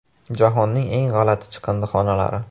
Jahonning eng g‘alati chiqindixonalari .